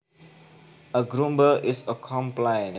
A grumble is a complaint